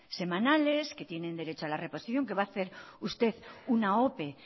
semanales que tienen derecho a la reposición que va a hacer usted una ope